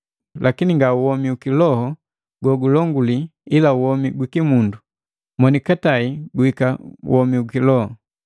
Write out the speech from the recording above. Lakini nga womi u kiloho gogulonguli ila womi gwiki mundu, monikatai guhika u kiloho.